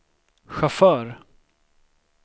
chaufför